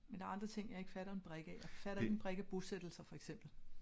Men der er andre ting jeg ikke fatter en brik af. Jeg fatter ikke en brik af bosættelser for eksempel